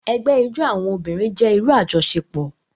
Ẹgbẹ ijó awọn obirin jẹ iru ajọṣepọ.